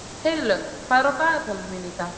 Heiðlaug, hvað er á dagatalinu mínu í dag?